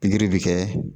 Pikiri bɛ kɛ